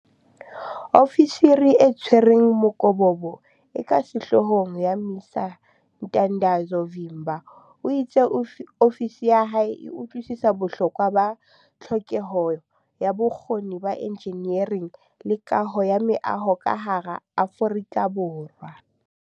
Ofisiri e Tshwereng Mokobobo e ka Sehloohong ya MISA Ntandazo Vimba o itse ofisi ya hae e utlwisisa bohlokwa ba tlhokeho ya bokgoni ba enjinering le kaho ya meaho ka hara Aforika Borwa.